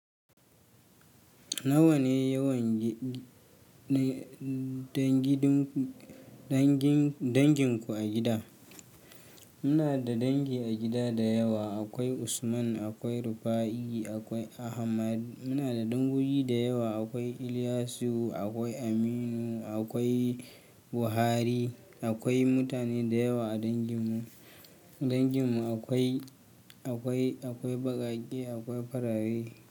Nawa ne yawan dangin ku a gida? Muna da dangi a gida da yawa. Akwai Usman, akwai Rufa'i, akwai Ahmad. Muna da dangogi da yawa. Akwai Iliyasu, akwai Aminu, akwai Buhari. Akwai mutane da yawa a dangin mu. Dangin mu akwai, akwai, akwai baƙaƙe, akwai farare.